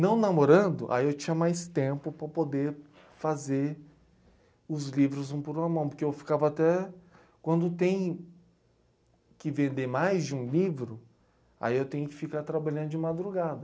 Não namorando, aí eu tinha mais tempo para poder fazer os livros um por uma mão, porque eu ficava até, quando tem que vender mais de um livro, aí eu tenho que ficar trabalhando de madrugada.